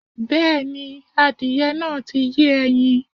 Bẹ́ẹ̀̀ni, adìyẹ náà ti yé ẹyin